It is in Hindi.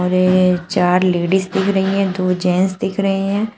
वे चार लेडिस दिख रही हैं दो जेंट्स दिख रहे हैं।